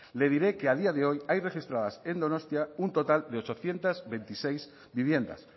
le diré que a día de hoy hay registradas en donostia un total de ochocientos veintiséis viviendas